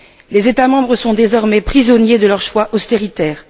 Les États membres sont désormais prisonniers de leurs choix austéritaires.